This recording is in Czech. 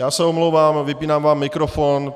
Já se omlouvám, vypínám vám mikrofon.